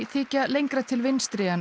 þykja lengra til vinstri en